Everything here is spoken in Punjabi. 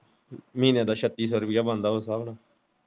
ਮਹੀਨੇ ਦਾ ਸੱਤੀ ਸੋ ਰੁਪਿਆ ਬਣਦਾ ਇਸ ਸਾਬ ਨਾਲ।